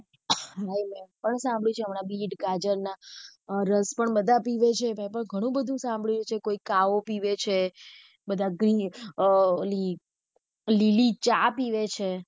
સાંભળ્યું છે એમના બીટ, ગાજર ના અ રસ પણ બધા પીવે છે મે તો ગણું બધું સાંભળ્યું છે કોઈ કાઓ પીવે છે બધા અમ લીલી ચા પીવે છે.